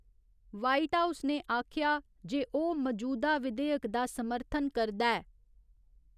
White House ने आखेआ जे ओह् मजूदा विधेयक दा समर्थन करदा ऐ।